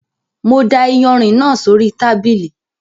Mo da ìyanrìn náà sóri tábìlì